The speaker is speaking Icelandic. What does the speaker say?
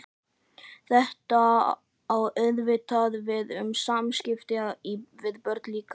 Þetta á auðvitað við um samskipti við börnin líka.